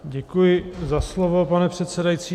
Děkuji za slovo, pane předsedající.